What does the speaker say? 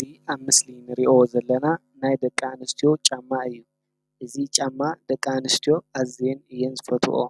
እዚ ኣብ ምስሊ እንሪኦ ዘለና ናይ ደቂ አንስትዮ ጫማ እዩ። እዚ ጫማ ደቂ አንስትዮ አዝየን እየን ዝፈትወኦ።